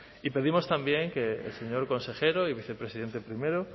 y pedimos también que el señor consejero y vicepresidente primero